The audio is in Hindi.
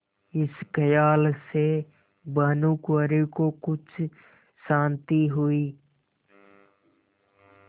इस खयाल से भानुकुँवरि को कुछ शान्ति हुई